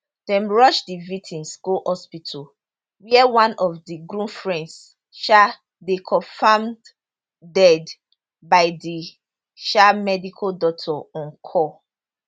dem rush di victims go hospital where one of di groom friends um dey confirmed dead by di um medical doctor on call